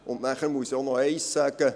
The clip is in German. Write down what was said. Dann muss ich auch noch eines sagen: